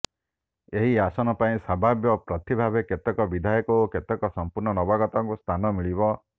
ଏହି ଆସନ ପାଇଁ ସମ୍ଭାବ୍ୟ ପ୍ରାର୍ଥୀ ଭାବେ କେତେକ ବିଧାୟକ ଓ କେତେକ ସମ୍ପୂର୍ଣ୍ଣ ନବାଗତଙ୍କୁ ସ୍ଥାନ ମିଳିବ